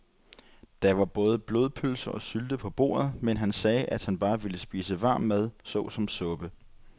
Der var både blodpølse og sylte på bordet, men han sagde, at han bare ville spise varm mad såsom suppe.